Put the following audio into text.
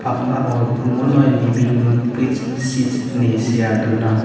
ummunoi libing rut brij sij ine sea dona.